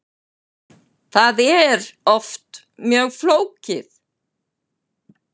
Það er oft mjög flókið.